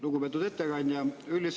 Lugupeetud ettekandja!